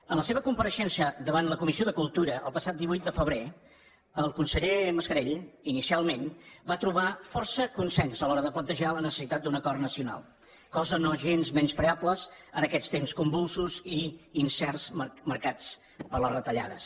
en la seva compareixença davant la comissió de cultu ra el passat divuit de febrer el conseller mascarell inicialment va trobar força consens a l’hora de plantejar la necessitat d’un acord nacional cosa no gens menyspreable en aquests temps convulsos i incerts marcats per les retallades